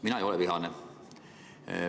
Mina ei ole vihane.